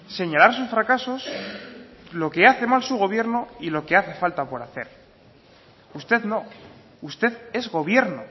señalar sus fracasos lo que hace mal su gobierno y lo que hace falta por hacer usted no usted es gobierno